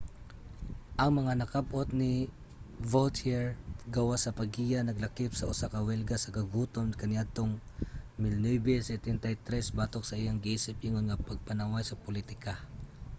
ang mga nakab-ot ni vautier gawas sa paggiya naglakip sa usa ka welga sa kagutom kaniadtong 1973 batok sa iyang giisip ingon nga pagpanaway sa politika